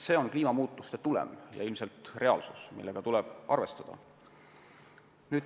See on kliimamuutuste tagajärg ja ilmselt reaalsus, millega tuleb arvestada.